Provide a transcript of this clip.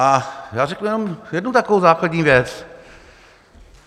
A já řeknu jenom jednu takovou základní věc.